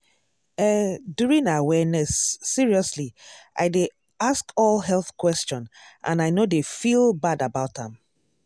eh during awareness seriously i dey ask all health question and i no dey feel bad about am.